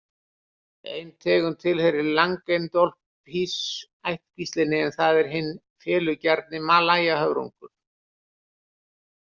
Ein tegund tilheyrir Langenodolphis-ættkvíslinni en það er hinn felugjarni malajahöfrungur.